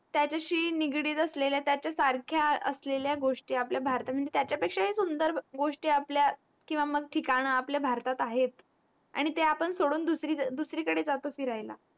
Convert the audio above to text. त्याचशी निगडीत असलेल्या असलेल्या त्याचया सारख्या असलेल्या गोष्टी आपल्या भारत म्हणजे त्याचा पेक्षाही सुंदर गोष्टी आपल्या ठिकाण आपल्या भारतात आहेत आणि ते आपण सोडून दुसरी कडे जातो फिरायला